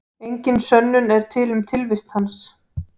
Engin sönnun er til um tilvist hans.